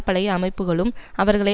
பழைய அமைப்புகளும் அவர்களை